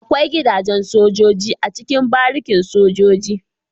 Akwai gida jen sojoji a cikin barikin sojoji